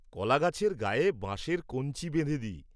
কলা গাছের গায়ে বাঁশের কঞ্চি বেঁধে দিই।